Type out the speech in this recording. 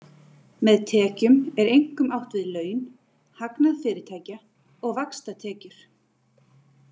Með tekjum er einkum átt við laun, hagnað fyrirtækja og vaxtatekjur.